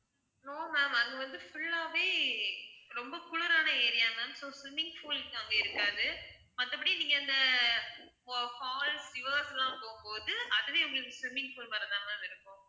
no ma'am அங்க வந்து full ஆவே ரொம்ப குளிரான area ma'am so swimming pool அங்க இருக்காது மத்தபடி நீங்க அந்த fa~ falls rivers லாம் போகும் போது அதுவே உங்களுக்கு swimming pool மாதிரி தான் ma'am இருக்கும்